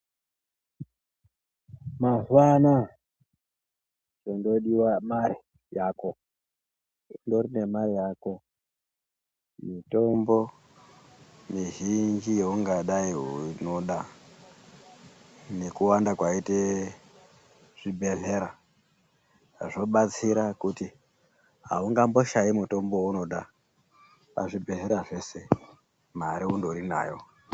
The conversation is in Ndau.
Mazuva anaya chondodiva mare yako. Undorine mare yako mitombo mizhinji yaungadai unoda. Nekuwanda kwaite zvibhedhlera zvobatsira kuti haungamboshayi mutombo vaunoda pazvibhedhlera zvese mari unondorinayo.